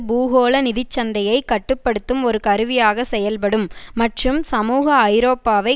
பூகோள நிதி சந்தையை கட்டு படுத்தும் ஒரு கருவியாக செயல்படும் மற்றும் சமூக ஐரோப்பாவை